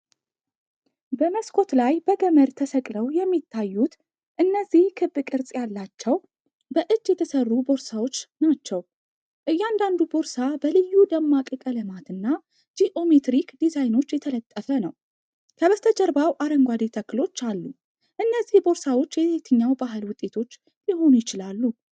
መስኮት ላይ በገመድ ተሰቅለው የሚታዩት እነዚህ ክብ ቅርጽ ያላቸው በእጅ የተሠሩ ቦርሳዎች ናቸው። እያንዳንዱ ቦርሳ በልዩ ደማቅ ቀለማትና ጂኦሜትሪክ ዲዛይኖች የተጠለፈ ነው፣ ከበስተጀርባው አረንጓዴ ተክሎች አሉ፤ እነዚህ ቦርሳዎች የየትኛው ባህል ውጤቶች ሊሆኑ ይችላሉ?